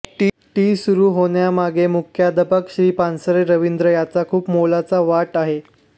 T सुरू होण्यामागे मुख्याध्यापक श्री पानसरे रविन्द्र याचा खूप मोलाचा वाट आहे